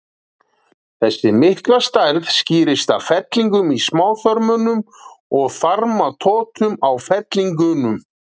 Þessi mikla stærð skýrist af fellingum í smáþörmunum og þarmatotum á fellingunum.